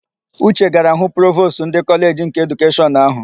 Uche gara hụ Provostu ndị Kọleji nke Edukeshọn áhụ̀.